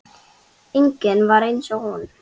Enginn er eins og hún.